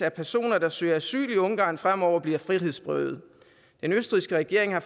at personer der søger asyl i ungarn fremover bliver frihedsberøvet den østrigske regering har